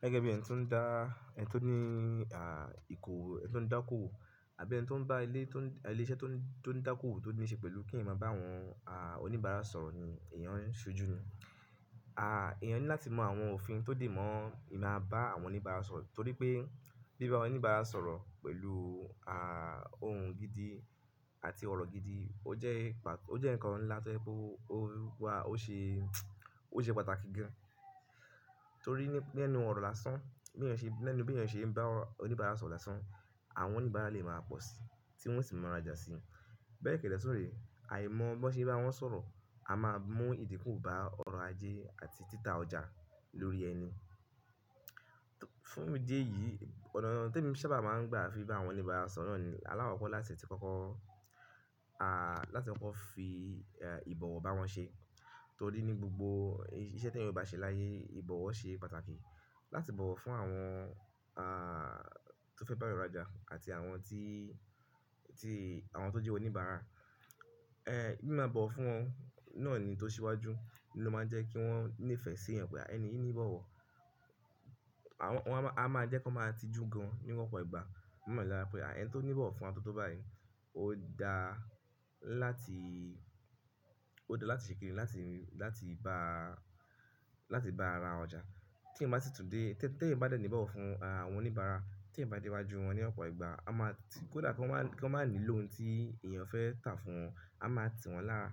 Gẹ́gẹ́ bí ẹni tó ń dá, ẹni tó ní, ah, ìkòwé, ẹni tó ń dá kòwò àbí ẹni tó ń bá ilé tó ń, ilé iṣẹ́ tó ní, tó ń dá kòwò tó níṣe pẹ̀lú kí èmi máa bá àwọn, ah, oníbàárà sọ̀rọ̀ ni èèyàn ń ṣojú nu. Ah, èèyàn ní láti mọ àwọn òfin tó dè mọ́ ìma bá àwọn oníbàárà sọ̀rọ̀ torí pé bí bá oníbàárà sọ̀rọ̀ pẹ̀lú, ah, ohùn gidi àti ọ̀rọ̀ gidi ó jẹ́ ìpà, ó jẹ́ ǹkan ńlá tó ye pé ó wà, ó ṣe, ó ṣe pàtàkì gan torí ní, lẹ́nu ọ̀rọ̀ lásán, bí èèyàn ṣe, lẹ́nu bí èèyàn ṣe ń bá oníbàárà sọ̀rọ̀ lásán, àwọn oníbàárà lè máa pọ̀ síi tí wọ́n sì máa ra jasi. Bẹ́ẹ̀ kédé tunre, àìmọ̀ bó ṣe bá wọn sọ̀rọ̀, a máa mú ìdíkù bá ọ̀rọ̀ ajé àti títà ọjà lórí ẹni. Fún idí ẹ̀yìí, ọ̀nà te mi sábà máa ń gbà fi bá àwọn oníbàárà sọ̀rọ̀ náà ni alákokọ̀ láti ti kọ́kọ́, ah, láti kọ́kọ́ fi, e, ìbọ̀wọ̀ bá wọn ṣe torí ní gbogbo iṣẹ́ tí èèyàn bá ṣe láyé, ìbọ̀wọ̀ ṣe pàtàkì. Láti bọ̀wọ̀ fún àwọn, ah, tó fẹ́ bá wa ra jà àti àwọn tí, tí, àwọn tó jẹ́ oníbàárà. Eh, bí màá bọ̀wọ̀ fún wọn náà ni tó ṣe iwájú ló máa jẹ́ kí wọ́n ní ìfẹ́ sí ẹ pé ẹni yìí ń bọ̀wọ̀. Àwọn, wọn a máa, a máa jẹ́ kí wọn máa tijú gan níwọn ọ̀pọ̀ ìgbà. Wọn máa mọ̀ lára pé, à, ẹni tó ń bọ̀wọ̀ fún wọn tótó báyìí ó da láti, ó da láti ṣèkini, láti, láti bá, láti bá ara ọjà. Tí èyan bá sì tún dé, tí èyan bá dẹ́ ní bọ̀wọ̀ fún, ah, àwọn oníbàárà, tí èyan bá dé iwájú wọn ní ọ̀pọ̀ ìgbà, a máa ti, kó dà kí wọn má, kí wọn má ní lóhùn tí èèyàn fẹ́ tà fún wọn, a máa tì wọ́n lára